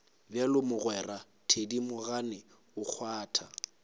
bjalo mogwera thedimogane o kgwatha